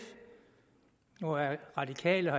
nu er radikale